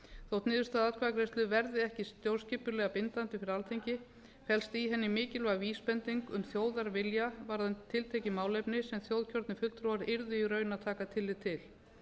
þótt niðurstaða atkvæðagreiðslu verði ekki stjórnskipulega bindandi fyrir alþingi felst í henni mikilvæg vísbending um þjóðarvilja varðandi tiltekið málefni sem þjóðkjörnir fulltrúar yrðu í raun að taka tillit til